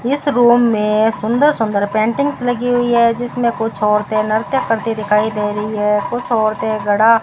इस रूम में सुंदर सुंदर पेंटिंग्स लगी हुई है जिसमें कुछ औरतें नृत्य करती दिखाई दे रही है कुछ औरतें घड़ा --